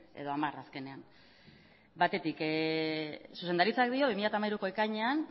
edo hamar azkenean batetik zuzendaritzak dio bi mila hamairuko ekainean